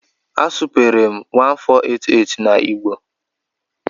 A supere m 1488 na Igbo